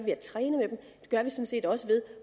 gør vi sådan set også ved